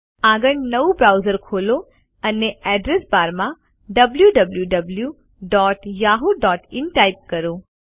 આગળ નવું બ્રાઉઝર ખોલો અને અડ્રેસ બારમાં wwwyahooin ટાઇપ કરો